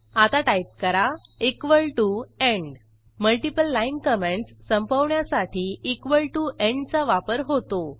आता टाईप करा equal to end multiple line comments संपवण्यासाठी इक्वॉल टीओ एंड चा वापर होतो